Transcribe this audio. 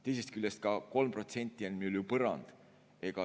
Teisest küljest, see 3% on meil ju põrand.